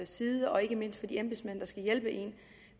side og ikke mindst fra de embedsmænds skal hjælpe en